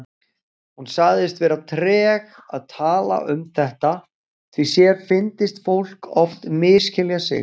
Hún sagðist vera treg að tala um þetta því sér fyndist fólk oft misskilja sig.